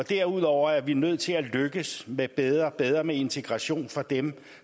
derudover er vi nødt til at lykkes med bedre bedre integration for dem